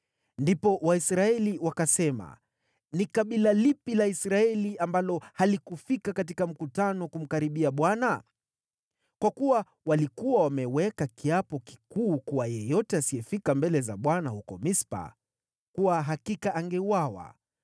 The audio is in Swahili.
Ndipo Waisraeli wakasema, “Ni kabila lipi la Israeli ambalo halikufika katika mkutano kumkaribia Bwana ?” Kwa kuwa walikuwa wameweka kiapo kikuu kuwa yeyote asiyefika mbele za Bwana huko Mispa, kwa hakika angeuawa.